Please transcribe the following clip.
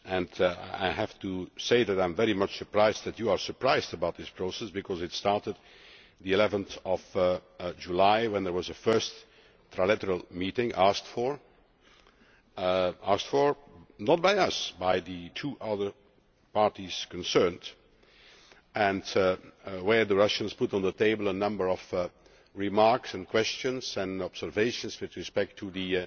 and I have to say that I am very surprised that you are surprised about this process, because it started on 11 July when there was a first trilateral meeting, asked for not by us but by the two other parties concerned, and the Russians put on the table a number of remarks and questions and observations with respect to the